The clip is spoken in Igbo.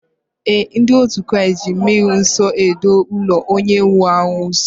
Ee, ndị otu Kraịst ji mmri nsọ edo ụlọ onye nwụrụ anwụ nsọ